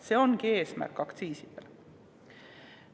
See ongi aktsiiside eesmärk.